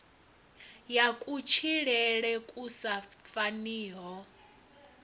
ya kutshilele ku sa faniho